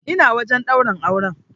Ina wajen ɗaurin aure.